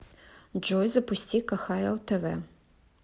джой запусти кхл тв